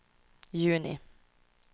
juni